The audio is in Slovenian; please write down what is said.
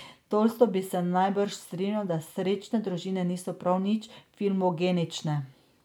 Tolstoj bi se najbrž strinjal, da srečne družine niso prav nič filmogenične.